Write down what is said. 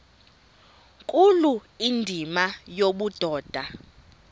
nkulu indima yobudoda